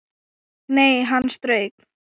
Nei, hann strauk